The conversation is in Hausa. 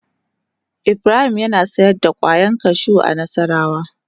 Ibrahim yana sayar da kwayan kashu a nassarawa.